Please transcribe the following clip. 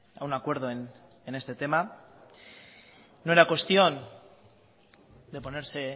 a un acuerdo en este tema no era cuestión de ponerse